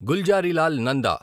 Gulzarilal Nanda